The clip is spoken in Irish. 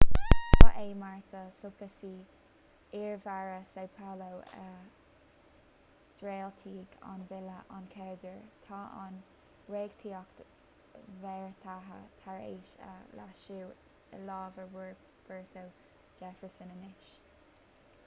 ba é marta suplicy iarmhéara são paulo a dhréachtaigh an bille a chéaduair. tá an reachtaíocht bheartaithe tar éis é a leasú i lámha roberto jefferson anois